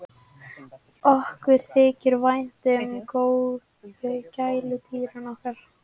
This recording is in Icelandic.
Okkur þykir vænt um gæludýrin okkar.